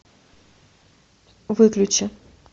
выключи